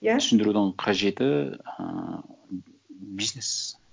иә түсіндірудің қажеті ыыы бизнес